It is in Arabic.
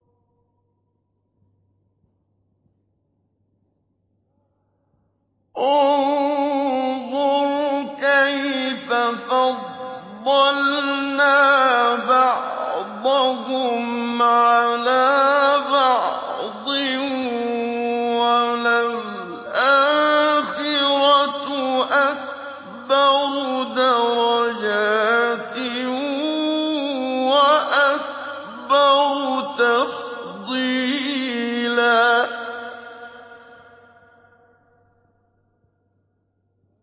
انظُرْ كَيْفَ فَضَّلْنَا بَعْضَهُمْ عَلَىٰ بَعْضٍ ۚ وَلَلْآخِرَةُ أَكْبَرُ دَرَجَاتٍ وَأَكْبَرُ تَفْضِيلًا